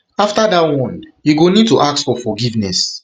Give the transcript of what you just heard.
after dat one you go need to ask for forgiveness